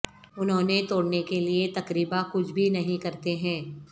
انہوں توڑنے کے لئے تقریبا کچھ بھی نہیں کرتے ہیں